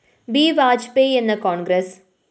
B Vajpayee എന്ന്‌ കോണ്‍ഗ്രസ്‌